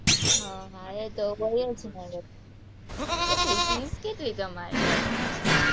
હમ એ તો હોય જ ને, કેટલી fees કેટલી તમારે રાખી છે?